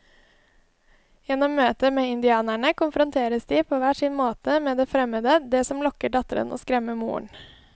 Gjennom møtet med indianerne konfronteres de på hver sin måte med det fremmede, det som lokker datteren og skremmer moren.